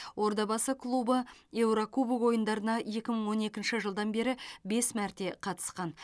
ордабасы клубы еурокубок ойындарына екі мың он екінші жылдан бері бес мәрте қатысқан